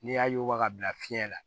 N'i y'a yuguba ka bila fiɲɛ na